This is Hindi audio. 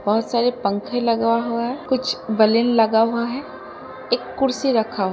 बहोत सारे पंखे लगा हुआ है। कुछ बलिन लगा हुआ है। एक कुर्सी रखा हु --